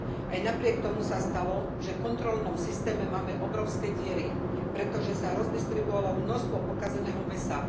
Aj napriek tomu sa stalo, že v kontrolnom systéme máme obrovské diery, pretože sa rozdistribuovalo množstvo pokazeného mäsa.